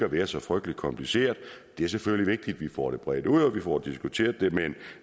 at være så frygtelig kompliceret det er selvfølgelig vigtigt at vi får det bredt ud og at vi får det diskuteret men